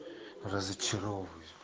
разочаровываюсь